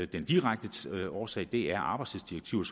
den direkte årsag er arbejdstidsdirektivet